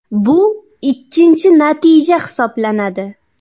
Bu ikkinchi natija hisoblanadi.